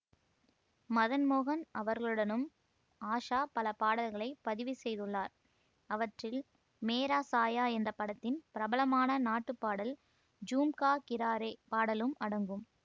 மதன் மோகன் அவர்களுடனும் ஆஷா பல பாடல்களை பதிவு செய்துள்ளார் அவற்றில் மேரா சாயா என்ற படத்தின் பிரபலமான நாட்டுப்பாடல் ஜும்கா கிரா ரே பாடலும் அடங்கும்